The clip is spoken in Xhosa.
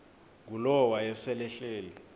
ngulowo wayesel ehleli